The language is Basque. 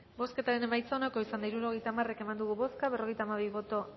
bozketaren emaitza onako izan da hirurogeita hamaika eman dugu bozka berrogeita hamabi boto